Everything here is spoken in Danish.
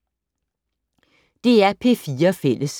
DR P4 Fælles